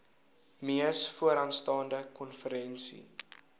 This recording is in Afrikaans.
mees vooraanstaande konferensie